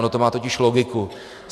Ono to má totiž logiku.